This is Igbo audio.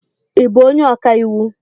Ị bú onye ọkàiwu?